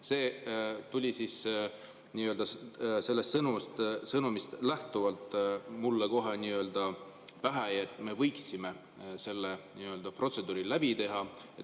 See tuli sellest sõnumist lähtuvalt mulle kohe pähe, et me võiksime selle protseduuri läbi teha.